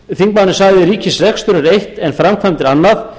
þingmaðurinn sagði ríkisrekstur er eitt en framkvæmdir annað